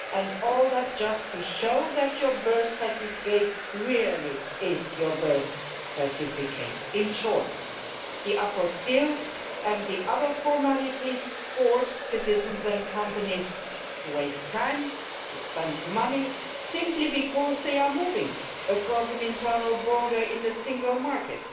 And all that just to show that your birth certificate really is your birth certificate. In short, the apostille and the other formalities force citizens and companies to waste time and to spend money, simply because they are moving across an internal border in the Single Market.